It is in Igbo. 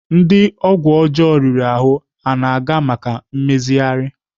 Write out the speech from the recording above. Ndị ọgwụ ọjọọ riri ahụ na-aga maka mmezigharị